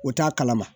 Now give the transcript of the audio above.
O t'a kalama